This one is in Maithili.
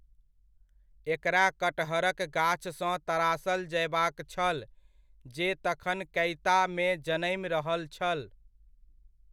एकरा कटहरक गाछसँ तरासल जयबाक छल, जे तखन कैतामे जनमि रहल छल।